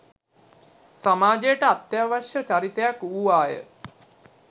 සමාජයට අත්‍යවශ්‍ය චරිතයක් වූවාය